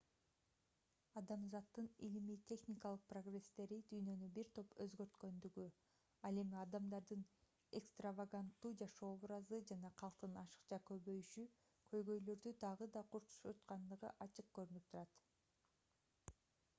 адамзаттын илимий-техникалык прогресстери дүйнөнү бир топ өзгөрткөндүгү ал эми адамдардын экстраваганттуу жашоо образы жана калктын ашыкча көбөйүшү көйгөйлөрдү дагы да курчуткандыгы ачык көрүнүп турат